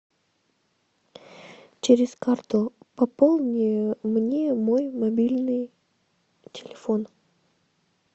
через карту пополни мне мой мобильный телефон